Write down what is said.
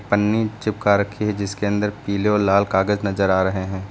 पन्नी चिपका रखी है जिसके अंदर पीले और लाल कागज नजर आ रहे हैं।